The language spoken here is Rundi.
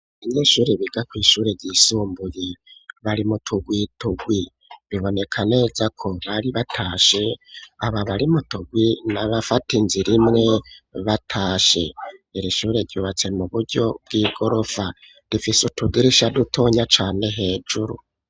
Abanyeshuri biga kwishure ry'isumbuye bari muturwiturwi biboneka neza ko bari batashe aba bari muturwi na bafate inzir imwe batashe iri ishure ryubatse mu buryo bw'igorofa difise utugrisha dutonya cane hejuru.